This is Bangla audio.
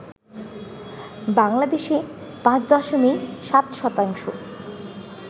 বাংলাদেশে ৫ দশমিক ৭ শতাংশ